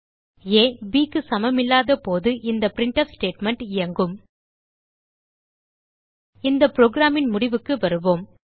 ஆ bக்கு சமமில்லாத போது இந்த பிரின்ட்ஃப் ஸ்டேட்மெண்ட் இயங்கும் இந்த programன் முடிவுக்கு வருவோம்